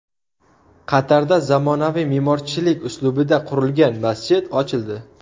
Qatarda zamonaviy me’morchilik uslubida qurilgan masjid ochildi .